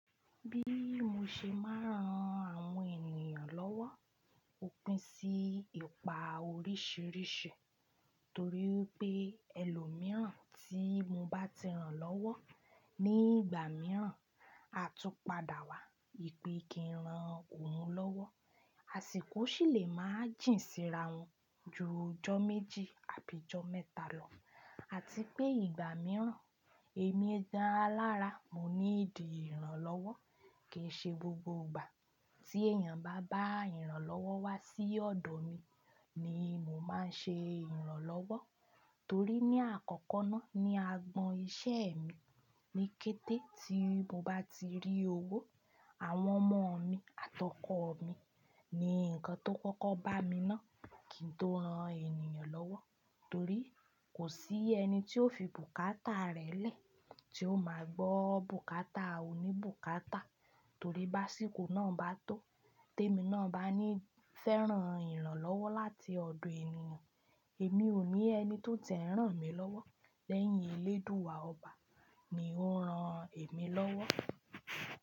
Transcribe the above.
Bí mo ṣe máa ń ran àwọn ènìyàn lọ́wọ́ ò pin sí ipa oríṣìíríṣìí tori wipé ẹlòmíràn tí mo bá ti ran lọ́wọ́ ní ìgbà mìíràn a tún padà wá ìpè kí n ran òun lọ́wọ́, àsìkò sì lè má jìn síra wọn ju ọjọ́ méjì àbí jọ mẹ́ta lọ. Àti pé ìgbà mìíràn èmi gan-an alára mo ní ìdí ìrànlọ́wọ́ kì í ṣe gbogbo ìgbà tí èèyàn bá bá ìrànlọ́wọ́ wá sí ọ̀dọ̀ mi ni mo máa ṣe ìrànlọ́wọ́ torí ní àkọ́kọ́ ná ní agbọn iṣẹ́ mi ni kété tí mo bá ti rí owó, àwọn ọmọ mi àtọkọ̀ mi ni nǹkan tó kọ́kọ́ bá mi ná kì tó ran ènìyàn lọ́wọ́ torí kò sí ẹni tí ó fi bùkátà rẹ̀ lẹ̀ tí ó máa gbọ́ bùkátà oníbùkátà torí bá sìkò náà bá tó tèmi náà bá ní fẹ́ ran ìrànlọ́wọ́ láti ọ̀dọ̀ ènìyàn èmi ò ní ẹni to ti e n ràn mí lọ́wọ́ lẹ́yìn eléèdúà ọba ni ó ń ran èmi lọ́wọ́